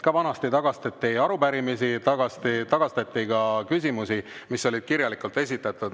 Ka vanasti tagastati teie arupärimisi, tagastati ka küsimusi, mis olid kirjalikult esitatud.